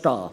Deshalb